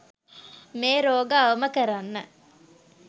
මේ රෝග අවම කරන්න.